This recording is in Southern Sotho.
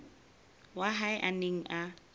wa hae a neng a